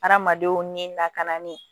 Hadamadenw ni lakanali